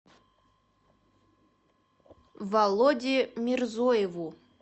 володе мирзоеву